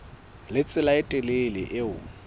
le tsela e telele eo